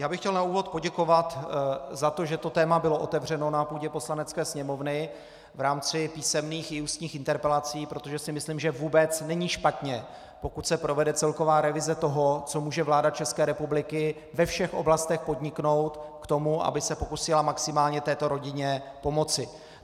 Já bych chtěl na úvod poděkovat za to, že to téma bylo otevřeno na půdě Poslanecké sněmovny v rámci písemných i ústních interpelací, protože si myslím, že vůbec není špatně, pokud se provede celková revize toho, co může vláda České republiky ve všech oblastech podniknout k tomu, aby se pokusila maximálně této rodině pomoci.